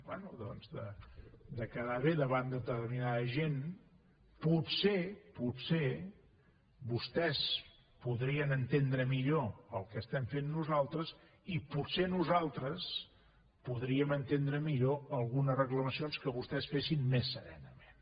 bé doncs de quedar bé davant de determinada gent potser potser vostès podrien entendre millor el que estem fent nosaltres i potser nosaltres podríem entendre millor algunes reclamacions que vostès fessin més serenament